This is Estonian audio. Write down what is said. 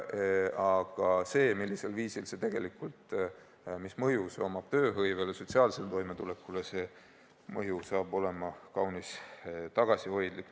Aga millisel viisil see tegelikult mõjub tööhõivele, sotsiaalsele toimetulekule – see mõju saab olema kaunis tagasihoidlik.